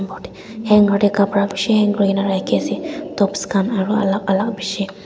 hanger de kabra bishi hang kurina raki ase tops kan aro alak alak bishi.